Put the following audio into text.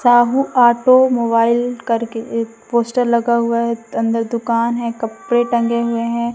Sahu automobile करके एक poster लगा हुआ है अंदर दुकान है कपड़े टंगे हुए हैं।